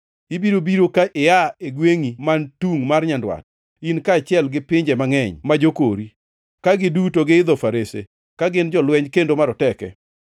Ibiro biro ka ia e gwengʼi man tungʼ mar nyandwat, in kaachiel gi pinje mangʼeny ma jokori, ka giduto giidho farese, ka gin jolweny kendo maroteke.